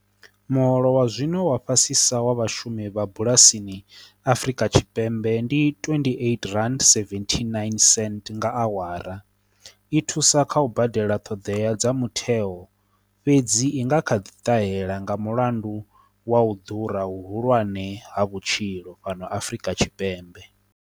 Muholo wa zwino wa fhasisa wa vhashumi vha bulasini Afrika tshipembe, ndi twendi eiti rand seventhi nine senth nga awara, i thusa kha u badela ṱhoḓea dza mutheo fhedzi, i nga kha ḓi ṱahela nga mulandu wa u ḓura hu hulwane ha vhutshilo fhano Afrika tshipembe.